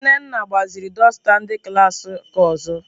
Nnenna gbaziri dusta ndi klas nke ozo.